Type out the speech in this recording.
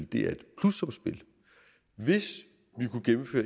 det er et plussumsspil hvis